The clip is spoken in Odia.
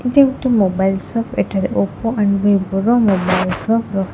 ଏଇଟା ଗୋଟେ ମୋବାଇଲ ସପ ଏଠାରେ ଓପୋ ଆଣ୍ଡ ବିଭୋର ମୋବାଇଲ ସବୁ ରହି--।